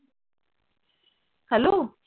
hello